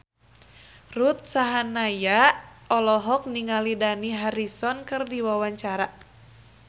Ruth Sahanaya olohok ningali Dani Harrison keur diwawancara